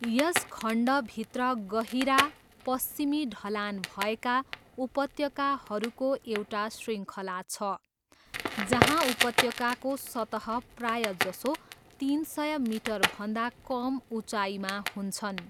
यस खण्डभित्र गहिरा पश्चिमी ढलान भएका उपत्यकाहरूको एउटा श्रृङ्खला छ जहाँ उपत्यकाको सतह प्रायजसो तिन सय मिटरभन्दा कम उचाइमा हुन्छन्।